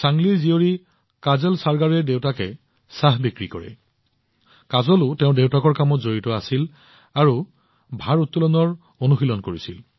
চাংলিৰ কন্যা কাজল চৰগাৰে তেওঁৰ দেউতাকক কামত সহায় কৰিছিল আৰু ভাৰাত্তোলনৰ অনুশীলনো কৰিছিল